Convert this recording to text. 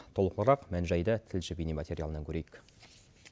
толығырақ мән жайды тілші бейне материалынан көрейік